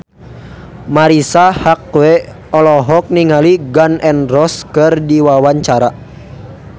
Marisa Haque olohok ningali Gun N Roses keur diwawancara